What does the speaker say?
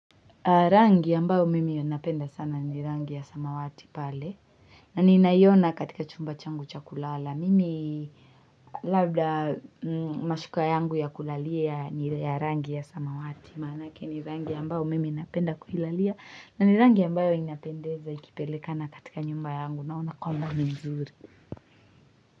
Rangi ya mbao mimi inapenda sana ni rangi ya samawati pale. Na ni nayona katika chumba changu cha kulala. Mimi labda mashuka yangu ya kulalia ni rangi ya samawati. Manake ni rangi ya mbao mimi inapenda kuilalia. Na ni rangi ya mbao inapendeza ikipelekana katika nyumba yangu naona kwamba mzuri.